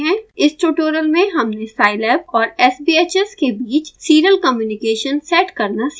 इस ट्यूटोरियल में हमने scilab और sbhs के बीच serial communication सेट करना सीखा